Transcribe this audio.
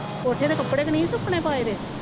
ਕੋਠੇ ਤੇ ਕੱਪੜੇ ਤਾਂ ਨਹੀਂ ਸੁੱਕਣੇ ਪਾਏ ਹੋਏ